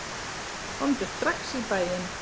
Komdu strax í bæinn.